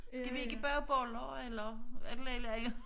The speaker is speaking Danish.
Skal vi ikke bage boller eller et eller andet